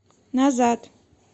назад